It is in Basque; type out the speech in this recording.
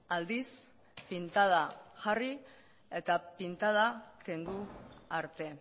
aldiz pintada jarri eta pintada kendu arte